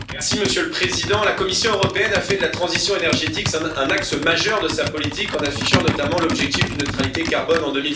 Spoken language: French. Monsieur le Président, la Commission européenne a fait de la transition énergétique un axe majeur de sa politique en affichant notamment l'objectif d'une neutralité carbone en